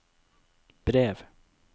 brev